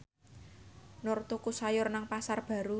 Nur tuku sayur nang Pasar Baru